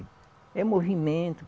É movimento.